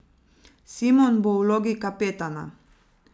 Simon bo v vlogi kapetana.